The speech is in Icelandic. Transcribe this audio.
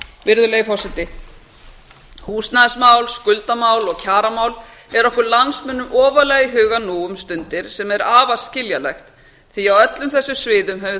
virðulegi forseti húsnæðismál skuldamál og kjaramál eru okkur landsmönnum ofarlega í huga nú um stundir sem er afar skiljanlegt því að á öllum þessum sviðum hefur